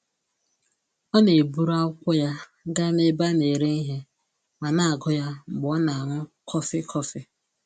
Ọ na-eburu akwụkwọ ya gaa n'ebe a na-ere ihe ma na-agụ ya mgbe ọ na-aṅụ kọfị kọfị